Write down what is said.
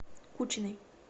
кучиной